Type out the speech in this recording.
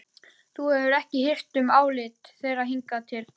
Þú hefur ekki hirt um álit þeirra hingað til.